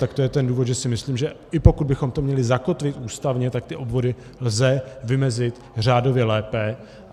Tak to je ten důvod, že si myslím, že i pokud bychom to měli zakotvit ústavně, tak ty obvody lze vymezit řádově lépe.